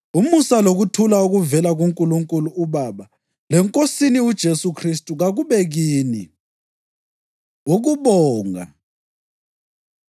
Umusa lokuthula okuvela kuNkulunkulu uBaba leNkosini uJesu Khristu kakube kini. Ukubonga